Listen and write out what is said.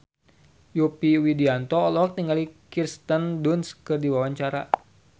Yovie Widianto olohok ningali Kirsten Dunst keur diwawancara